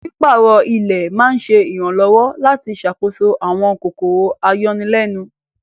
Pípàárọ̀ ilẹ̀ ma ǹṣẹ iranlọwọ̀ lati ṣákóso awọn kòkòrò ayọ̀nilẹ̀nun.